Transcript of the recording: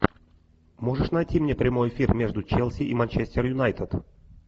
можешь найти мне прямой эфир между челси и манчестер юнайтед